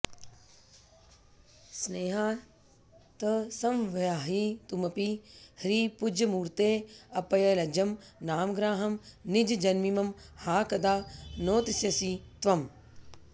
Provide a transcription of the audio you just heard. स्नेहात्संवाहयितुमपि ह्रीपुञ्जमूर्तेऽप्यलज्जं नामग्राहं निजजनमिमं हा कदा नोत्स्यसि त्वम्